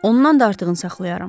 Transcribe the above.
Ondan da artığını saxlayaram.